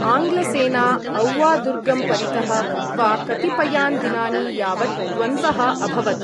आङ्ग्लसेना औवा दुर्गं परितः कृत्वा कतिपयान् दिनानि यावत् द्वन्द्वः अभवत् ।